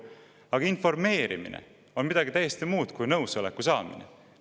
Aga informeerimine on midagi täiesti muud kui nõusoleku saamine.